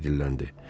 Harvi dilləndi.